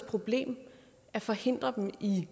problem at forhindre dem i